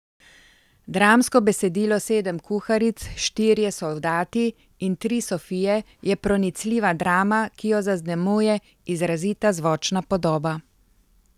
Dramsko besedilo Sedem kuharic, štirje soldati in tri sofije je pronicljiva drama, ki jo zaznamuje izrazita zvočna podoba.